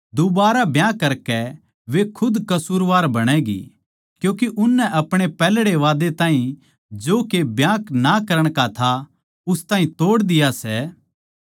दुबारै ब्याह करके वे खुद कसूरवार बणैगी क्यूँके उननै अपणे पैहल्ड़े वादै ताहीं जो के ब्याह ना करण का था उस ताहीं तोड़ दिया सै